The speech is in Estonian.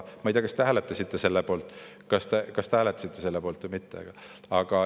Ma ei tea, kas te hääletasite selle poolt või mitte.